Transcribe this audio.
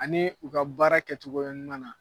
Ani u ka baara kɛtogoya ɲuman na